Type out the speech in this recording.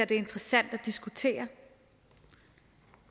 det er interessant at diskutere